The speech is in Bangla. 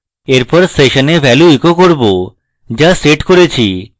এরপর সেশনে value echo করব যা set করেছি